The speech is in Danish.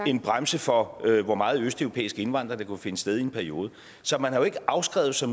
en bremse for hvor meget østeuropæisk indvandring der kunne finde sted i en periode så man har jo ikke afskrevet sig